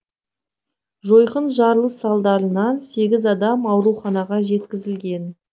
жойқын жарылыс салдарынан сегіз адам ауруханға жеткізілген